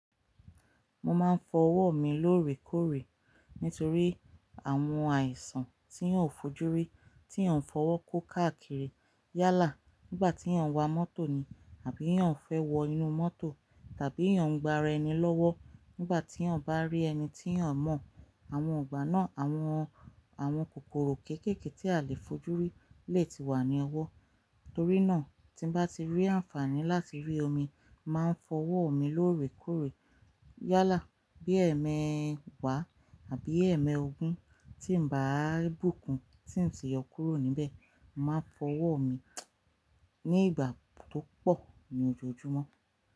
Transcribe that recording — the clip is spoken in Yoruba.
Mo máa ń fọ ọwọ́ mi lóòrèkóòrè nítorí àwọn àìsàn tí eyan ó fojú rí tí eyan fọwọ́ kó káàkiri yálà nígbà tí eyan wa mọ́tò ni àbí eyan fẹ́ wọ inú mọ́tò tàbí eyan gba ara ẹni lọ́wọ́ nígbà tí eyan bá rí ẹni tí eyan mọ̀. Àwọn igbà náà àwọn, àwọn kòkòrò kéékèèké tí a lè fojú rí lè ti wà ní ọwọ́. Nítorí náà, tí bá ti rí àǹfààní láti rí omi, màá fọ ọwọ́ mi lóòrèkóòrè yálà bí ẹmẹ wà àbí ẹmẹ ogun tí bàá bùkún tí ǹ ṣe yọ kúrò níbẹ̀, màá fọ ọwọ́ mi ní ìgbà tó pọ̀ ní ojoojúmọ́.